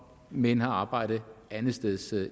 men har arbejde andetsteds